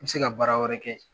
I bi se ka bara wɛrɛ kɛ.